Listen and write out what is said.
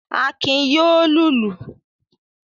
Akin yóò lùlù.